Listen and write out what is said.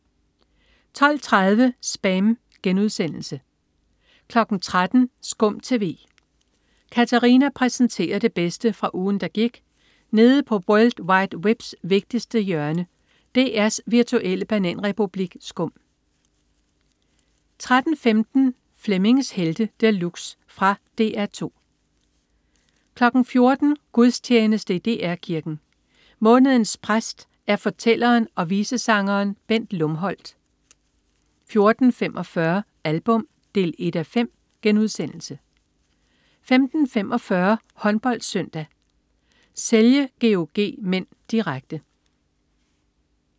12.30 SPAM* 13.00 SKUM TV. Katarina præsenterer det bedste fra ugen, der gik nede på world wide webs vigtigste hjørne, DR's virtuelle bananrepublik SKUM 13.15 Flemmings Helte De Luxe. Fra DR 2 14.00 Gudstjeneste i DR Kirken. Månedens præst er fortælleren og visesangeren Bent Lumholt 14.45 Album 1:5* 15.45 HåndboldSøndag: Celje-GOG (m), direkte